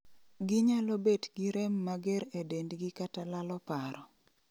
Ginyalo bet gi rem mager e dendgi kata lalo paro